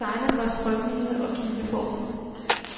Designet var strømlinet og kileformet.